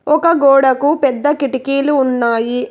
ఒక గోడకు పెద్ద కిటికీలు ఉన్నాయి.